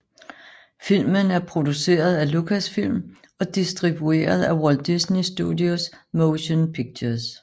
Filmen er produceret af Lucasfilm og distribueret af Walt Disney Studios Motion Pictures